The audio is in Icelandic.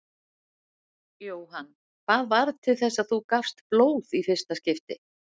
Jóhann: Hvað varð til þess að þú gafst blóð í fyrsta skipti?